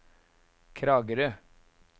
Kragerø